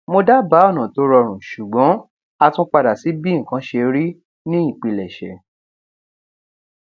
mo dábáà ọnà tó rọrùn ṣùgbọn a tún padà sí bí nǹkan ṣe rí ní ìpilèṣè